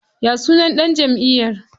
Ya sunan ɗan jamʼiyar?